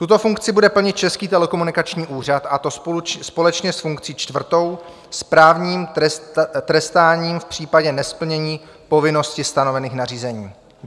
Tuto funkci bude plnit Český telekomunikační úřad, a to společně s funkcí čtvrtou, správním trestáním v případě nesplnění povinnosti stanovených nařízení.